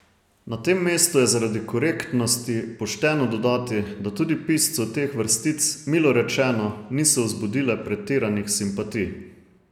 Na tem mestu je zaradi korektnosti pošteno dodati, da tudi piscu teh vrstic, milo rečeno, niso vzbudile pretiranih simpatij.